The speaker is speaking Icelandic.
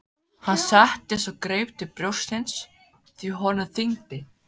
Hann settist og greip til brjóstsins því honum þyngdi.